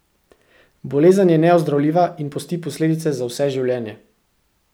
Bolezen je neozdravljiva in pusti posledice za vse življenje.